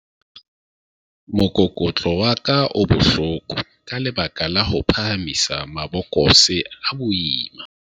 mokokotlo wa ka o bohloko ka lebaka la ho phahamisa mabokose a boima